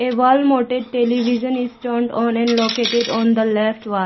a wall mouted television is turned on and located on the left wall.